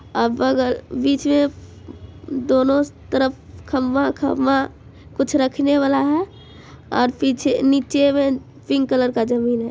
अब अगर बिच में दोनों तरफ खंभा-खंभा कुछ रखने वाला है और पीछे नीचे में पिंक कलर का जमीन है।